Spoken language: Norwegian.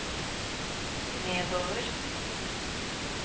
nedover